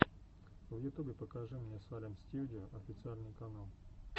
в ютубе покажи мне салем стьюдио официальный канал